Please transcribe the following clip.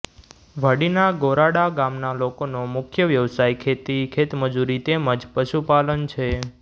વાડીના ગોરાડા ગામના લોકોનો મુખ્ય વ્યવસાય ખેતી ખેતમજૂરી તેમ જ પશુપાલન છે